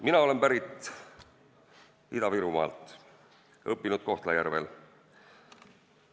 Mina olen pärit Ida-Virumaalt, õppinud Kohtla-Järvel.